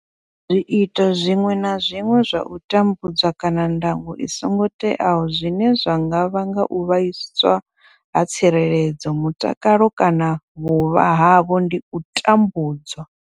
Zwiito zwiṅwe na zwiṅwe zwa u tambudza kana ndango i songo teaho zwine zwa nga vhanga u vhaiswa ha tsireledzo, mutakalo kana vhuvha havho ndi u tambudzwa.